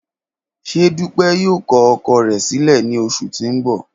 Ṣe Dupe yoo kọ ọkọ rẹ silẹ ni oṣu ti n bọ?